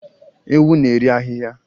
Ewu na-eri ahịhịa